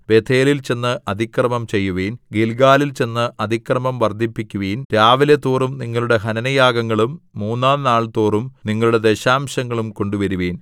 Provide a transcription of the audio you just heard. ബേഥേലിൽ ചെന്ന് അതിക്രമം ചെയ്യുവിൻ ഗില്ഗാലിൽ ചെന്ന് അതിക്രമം വർദ്ധിപ്പിക്കുവിൻ രാവിലെതോറും നിങ്ങളുടെ ഹനനയാഗങ്ങളും മൂന്നാംനാൾതോറും നിങ്ങളുടെ ദശാംശങ്ങളും കൊണ്ടുവരുവിൻ